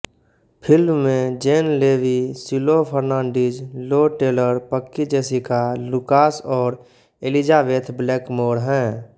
film में Jane Levy Shiloh Fernandez Lou Taylor Pucci Jessica Lucas और Elizabeth Blackmore हैं